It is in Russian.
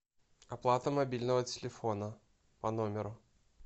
оплата мобильного телефона по номеру